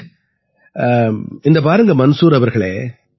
பலே பலே இந்தா பாருங்க மன்சூர் அவர்களே